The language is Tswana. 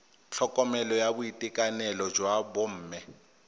tlhokomelo ya boitekanelo jwa bomme